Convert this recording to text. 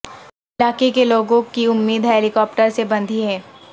علاقے کے لوگوں کی امید ہیلی کاپٹروں سے بندھی ہے